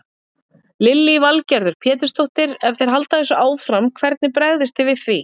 Lillý Valgerður Pétursdóttir: Ef þeir halda þessu áfram, hvernig bregðist þið við því?